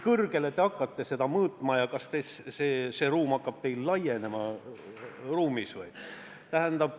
Kas te hakkate valimisruumi kõrgust mõõtma ja kas see ruum hakkab teil ülevalt laienema või?